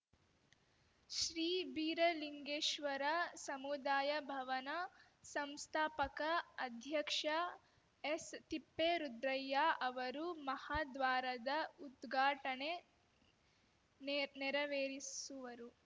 ಶ್ರೀ ಬೀರಲಿಂಗೇಶ್ವರ ಸಮುದಾಯ ಭವನ ಸಂಸ್ಥಾಪಕ ಅಧ್ಯಕ್ಷ ಎಸ್‌ತಿಪ್ಪೇರುದ್ರಯ್ಯ ಅವರು ಮಹಾದ್ವಾರದ ಉದ್ಘಾಟನೆ ನೆ ನೆರವೇರಿಸುವರು